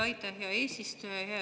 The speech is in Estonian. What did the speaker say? Aitäh, hea eesistuja!